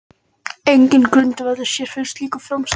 Enginn grundvöllur sé fyrir slíku framsali